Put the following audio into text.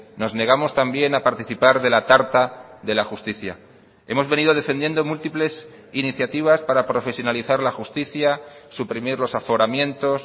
nos negamos también a participar de la tarta de la justicia hemos venido defendiendo múltiples iniciativas para profesionalizar la justicia suprimir los aforamientos